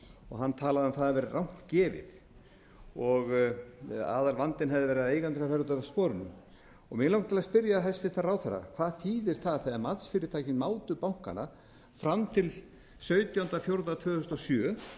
og hann talaði um að það væri rangt gefið og aðalvandinn hefði verið að eigendurnir hefðu farið út af sporinu mig langar til að spyrja hæstvirtan ráðherra hvað þýðir það þegar matsfyrirtækin mátu bankana fram til sautjándu apríl tvö þúsund og sjö